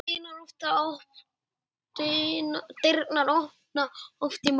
Dyrnar opna oft ég má.